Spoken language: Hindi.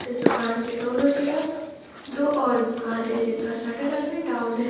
इस दुकान के दोनों तरफ दो और दुकान है जिनका शटर अभी डाउन है।